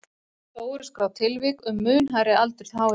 Þó eru skráð tilvik um mun hærri aldur háhyrninga.